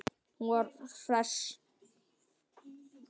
Hún var hress.